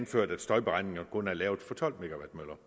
selv om støjberegningerne kun er lavet for tolv